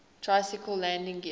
tricycle landing gear